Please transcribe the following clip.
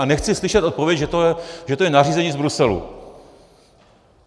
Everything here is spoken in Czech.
A nechci slyšet odpověď, že to je nařízení z Bruselu.